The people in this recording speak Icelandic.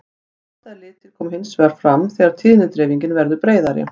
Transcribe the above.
blandaðir litir koma hins vegar fram þegar tíðnidreifingin verður breiðari